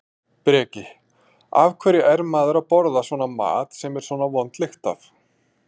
Breki: Af hverju er maður að borða svona mat sem er svona vond lykt af?